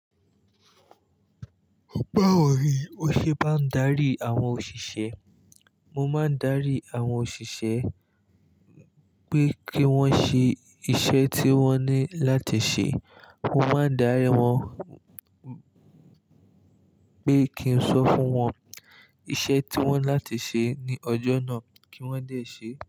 Báwo ni o ṣe maá ń darí àwọn òṣìṣẹ́. Mo má ń darí àwọn òṣìṣẹ́, pé kí wọ́n ṣe iṣẹ́ tí wọ́n ní láti ṣe. Mo má ń darí wọ́n, pé kí n sọ fún wọ́n iṣẹ́ tí wọ́n láti ṣe ní ọjọ́ náà, kí wọ́n dé ṣe.